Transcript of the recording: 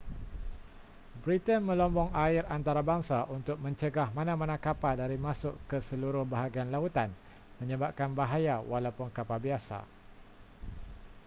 britain melombong air antarabangsa untuk mencegah mana-mana kapal dari masuk ke seluruh bahagian lautan menyebabkan bahaya walaupun kapal biasa